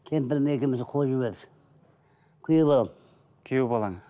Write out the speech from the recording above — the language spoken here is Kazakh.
кемпірім екеуімізді қуып жіберді күйеу балам күйеу балаңыз